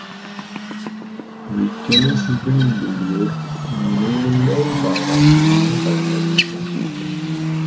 өйткені сіздің үйдегілер менің мұнда ұзағырақ жүруімді қаламайтын шығар